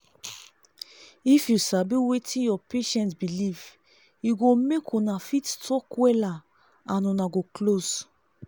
if u sabi wetin ur patient believe e go make una fit talk wella and una go close